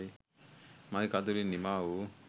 මගෙ කඳුළින් නිමාවූ